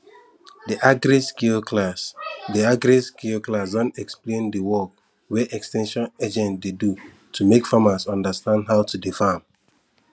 the agriskill class the agriskill class don explain the work wey ex ten sion agent dey do to make farmers understand how to dey farm